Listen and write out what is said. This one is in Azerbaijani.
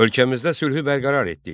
Ölkəmizdə sülhü bərqərar etdik.